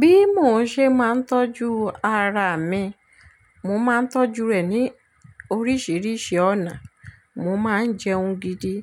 Bí mo ṣe máa ń tọ́jú ara mi, mo máa ń tọ́jú rẹ̀ ní oríṣìíríṣìí ọ̀nà. Mo máa ń jẹun gidi,